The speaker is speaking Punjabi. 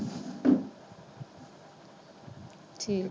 ਠੀਕ।